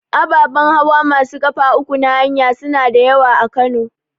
Ababan hawa masu ƙafa uku na haya suna da yawa a Kano.